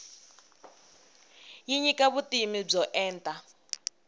yi nyika vutivi byo enta